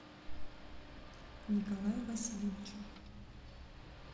николаю васильевичу